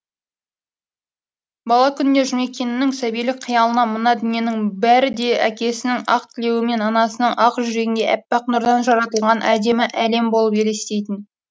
бала күнінде жұмекеннің сәбилік қиялына мына дүниенің бәрі де әкесінің ақ тілеуі мен анасының ақ жүрегіндей әппақ нұрдан жаратылған әдемі әлем болып елестейтін